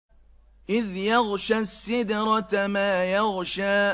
إِذْ يَغْشَى السِّدْرَةَ مَا يَغْشَىٰ